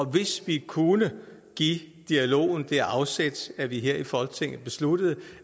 hvis vi kunne give dialogen det afsæt at vi her i folketinget beslutter